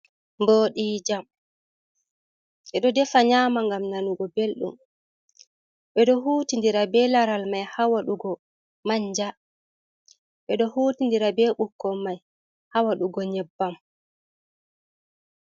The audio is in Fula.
Ɓoɗi jam ɓeɗo defa nyama ngam nanugo belɗum ɓeɗo huti ndira be laral mai ha waɗugo manja, ɓeɗo huti ndira be biƙkon man ha wadugo nyebbam.